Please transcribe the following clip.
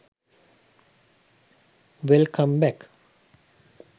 welcome back